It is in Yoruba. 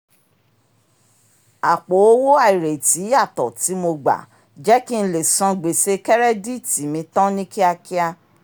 àpò owó àìrètí yàtọ̀ tí mo gba jẹ́ kí n lè san gbèsè kẹ́rẹ́díìtì mi tán ni kíákíá